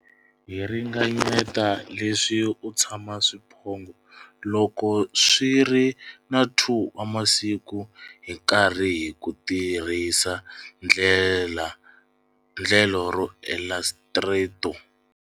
Hi ringanyeta leswi u tshena swiphongho loko swi ri na 2 wa masiku hi nkarhi hi ku tirhisa endlelo ro Elastrator.